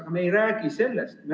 Aga me ei räägi sellest.